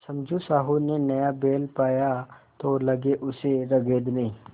समझू साहु ने नया बैल पाया तो लगे उसे रगेदने